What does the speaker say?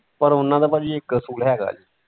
ਪਰ ਉਹਨਾਂ ਦਾ ਭਾਜੀ ਇੱਕ ਅਸੂਲ ਹੈ ਗਾ ਜੇ ।